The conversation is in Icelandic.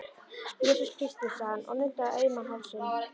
Jesús Kristur, sagði hann og nuddaði auman hálsinn.